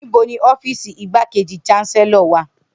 Nibo ni ọfiisi Igbakeji Chancellor wa?